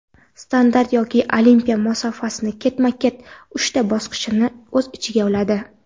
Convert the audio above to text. Standart yoki Olimpiya masofasi ketma-ket uchta bosqichni o‘z ichiga oladi:.